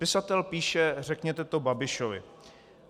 Pisatel píše: Řekněte to Babišovi.